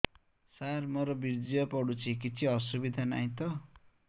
ସାର ମୋର ବୀର୍ଯ୍ୟ ପଡୁଛି କିଛି ଅସୁବିଧା ନାହିଁ ତ